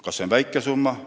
Kas see on väike summa?